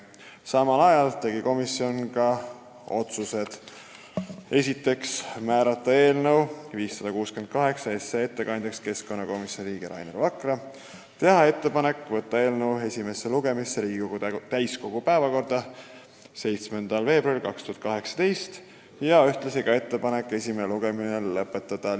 Samal istungil tegi komisjon ka menetluslikud otsused: määrata eelnõu 568 ettekandjaks keskkonnakomisjoni liige Rainer Vakra ja teha ettepanek võtta eelnõu esimene lugemine Riigikogu täiskogu 7. veebruari istungi päevakorda ja esimene lugemine lõpetada.